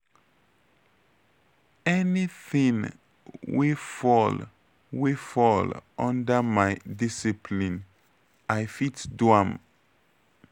anything wey fall wey fall under my discipline i fit do am.